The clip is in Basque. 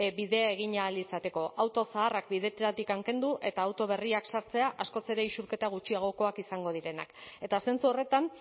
bidea egin ahal izateko auto zaharrak bideetatik kendu eta auto berriak sartzea askoz ere isurketa gutxiagokoak izango direnak eta zentzu horretan